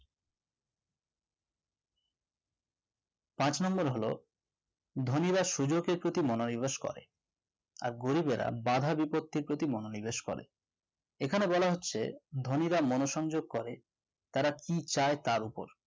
পাঁচ number হলো ধনিরা সুযোগের প্রতি মনোনিবেশ করে আর গরিবের বাধা বিপত্তির প্রতি মনোনিবেশ করে এখানে বলা হচ্ছে ধনীরা মনুসংযোগ করে তারা কি চায় তার ওপর